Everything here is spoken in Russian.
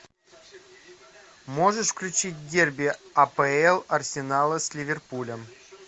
можешь включить дерби апл арсенала с ливерпулем